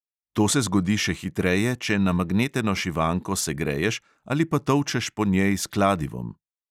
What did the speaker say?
To se zgodi še hitreje, če namagneteno šivanko segreješ ali pa tolčeš po njej s kladivom.